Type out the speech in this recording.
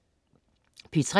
P3: